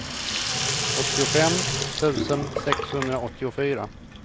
åttiofem tusen sexhundraåttiofyra